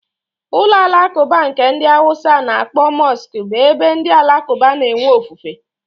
Ụlọ alakuba nke ndi awusa na-akpọ mosque bu ebe ndị alakuba na-enwe ofufe